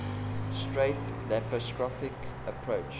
straight laparoscopic approach